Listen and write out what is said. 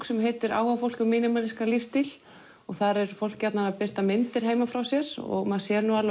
sem heitir áhugafólk um lífstíl og þar er fólk gjarnan að birta myndir heiman frá sér og maður sér nú